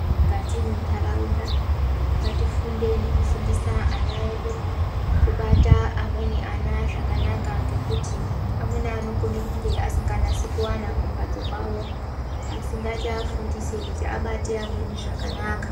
Mukati mwentaraunda ngatifundei nekufundisa ana edu kubata amweni ana zvakanaka. Ngekuti amweni anokona kunge asinganyatsi kuwana kumbatso kwavo. Asi ngatiafundise kuti abate amweni zvakanaka.